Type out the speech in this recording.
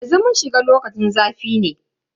Yanzu mun shiga lokacin zafi ne.